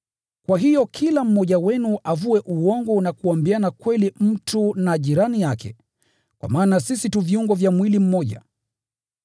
Kwa hiyo kila mmoja wenu avue uongo na kuambiana kweli mtu na jirani yake, kwa maana sisi sote tu viungo vya mwili mmoja.